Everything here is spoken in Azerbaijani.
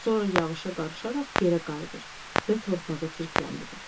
Sonra yağışa qarışaraq yerə qayıdır və torpağı çirkləndirir.